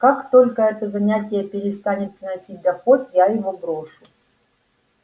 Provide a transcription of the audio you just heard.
как только это занятие перестанет приносить доход я его брошу